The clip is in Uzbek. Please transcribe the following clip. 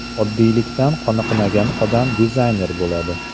Oddiylikdan qoniqmagan odam dizayner bo‘ladi.